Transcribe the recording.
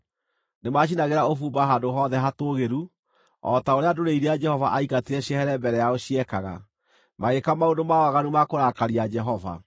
Nĩmacinagĩra ũbumba handũ hothe hatũũgĩru, o ta ũrĩa ndũrĩrĩ iria Jehova aaingatĩte ciehere mbere yao ciekaga. Magĩĩka maũndũ ma waganu ma kũrakaria Jehova.